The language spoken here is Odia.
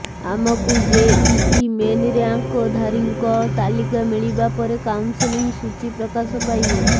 ଆମକୁ ଜେଇଇ ମେନ୍ ର୍ୟାଙ୍କଧାରୀଙ୍କ ତାଲିକା ମିଳିବା ପରେ କାଉନସେଲିଂ ସୂଚୀ ପ୍ରକାଶ ପାଇବ